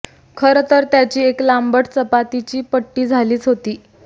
खरंतर त्याची एक लांबट चपातीची पट्टी झालीच होती